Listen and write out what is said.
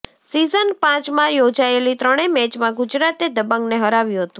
season પાંચમાં યોજાયેલી ત્રણે મેચમાં ગુજરાતે દબંગને હરાવ્યું હતું